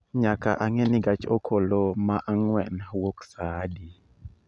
Nyaka ang'e ni gach okoloma ang'wen wuok saa adi